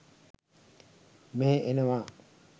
මෙහෙ එනවා.